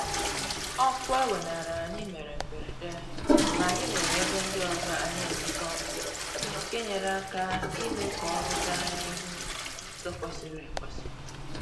Ọkụ e weenara anyị mere mberede ma anyị nwere ebe ndị ọzọ anyị enweta ọkụ nke nyere aka ime k'ọrụ gaa n'ihu n'ụzọ kwesịrị ekwesị